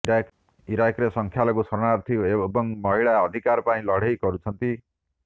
ଇରାକରେ ସଂଖ୍ୟାଲଘୁ ଶରଣାର୍ଥୀ ଏବଂ ମହିଳା ଅଧିକାର ପାଇଁ ଲଢ଼େଇ କରୁଛନ୍ତି